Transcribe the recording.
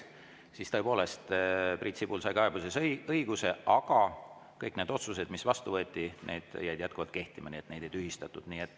Siis tõepoolest Priit Sibul sai selles kaebuseasjas õiguse, aga kõik need otsused, mis vastu võeti, jäid jätkuvalt kehtima, neid ei tühistatud.